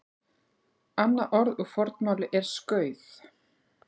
annað orð úr fornmáli er skauð